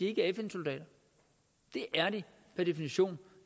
er fn soldater det er de per definition